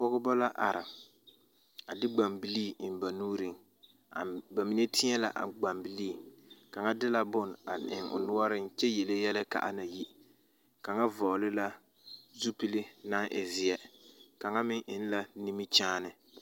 Pɔgeba la are a de gbanbilii eŋ ba nuuriŋ a ba mine teɛ la a gbanbilii kaŋa de la bone a eŋ o noɔreŋ kyɛ yele yɛlɛ k,a na yi kaŋa vɔgle la zupili naŋ e zeɛ kaŋa meŋ eŋ la nimikyaane.